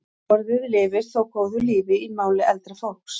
Orðið lifir þó góðu lífi í máli eldra fólks.